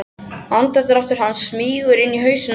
Andardráttur hans smýgur inn í hausinn á henni.